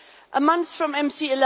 A month from MC